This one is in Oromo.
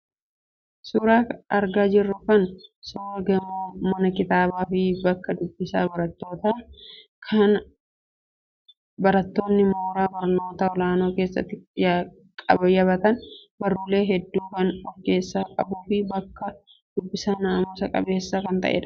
Suuraan argaa jirru kun suuraa gamoo mana kitaabaa fi bakka dubbisaa barattootaa kan barattoonni mooraa barnootaa ol'aanaa keessatti qayyabatan, barruulee hedduu kan of keessaa qabuu fi bakka dubbisaa naamusa qabeessa kan ta'edha.